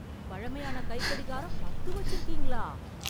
பழமையான கைக்கடிகாரம் பத்து வச்சுருக்கீங்களா?